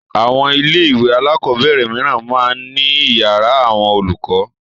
Àwọn ilé-ìwé alákọ̀ọ́bẹ̀rẹ̀ mìíràn máa ń ní ìyàrá àwọn olùkọ́.